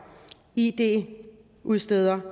id udsteder